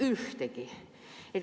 Mitte ühtegi.